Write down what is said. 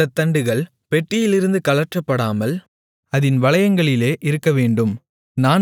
அந்தத் தண்டுகள் பெட்டியிலிருந்து கழற்றப்படாமல் அதின் வளையங்களிலே இருக்கவேண்டும்